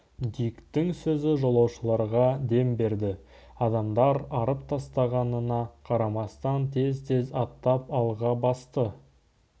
диктің сөзі жолаушыларға дем берді адамдар арып-талғанына қарамастан тез-тез аттап алға басты